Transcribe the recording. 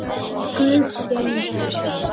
Guð geymi þau.